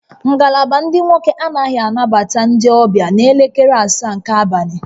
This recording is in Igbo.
Ngalaba ndị nwoke anaghị anabata ndị ọbịa n'elekere asaa nke abalị